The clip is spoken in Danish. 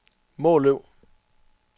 Måløv